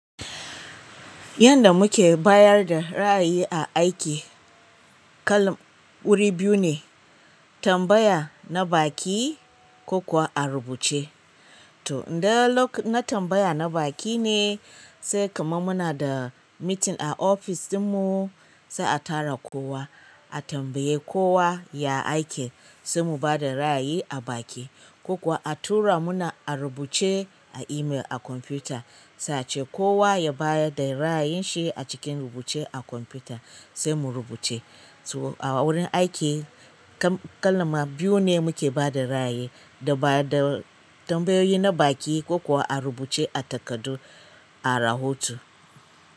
Yanda muke bayar da ra'ayi a aiki, kalam wuri biyu ne tambaya na baki ko kuwa a rubuce. To, idan lok, na tambaya na baƙi ne sai kamar muna da mitin a ofis ɗinmu sai a tara kowa, a tambaye kowa ya aike sai mu bada ra'ayi a baki. Ko kuwa a tura muna a rubuce a email a kwamfuta, sai ace kowa ya bayar da ra'ayin shi a cikin rubuce a kwamfuta sai mu rubuce. To, a wurin aiki kalma biyu ne muke bada ra'ayi, da bada tambayoyi na baki ko kuwa a rubuce a takardu, a rahoto.